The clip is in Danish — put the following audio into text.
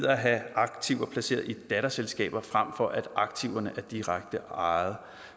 at have aktiver placeret i datterselskaber frem for at aktiverne er direkte ejet